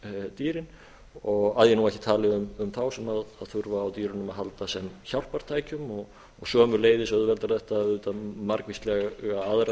dýrin að ég nú ekki tali um þá sem þurfa á dýrunum að halda sem hjálpartækjum sömuleiðis auðveldar þetta auðvitað margvíslega aðra